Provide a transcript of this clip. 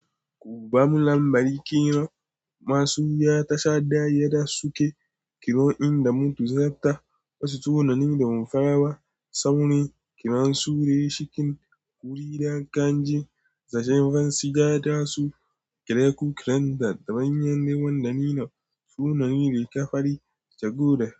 Kuba mu lambari kiran masu ya ta sha daya da suke kiro in da mutu sata, wasu sunan da mun fara ba, saurin kiran su da ya shikin wuri da kan ji, zashin fansi ja da su kireku kiranza kaman yanda ni na sunayin riga fari saboda.